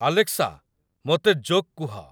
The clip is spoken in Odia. ଆଲେକ୍ସା ମୋତେ ଜୋକ୍ କୁହ